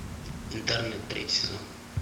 интерны третий сезон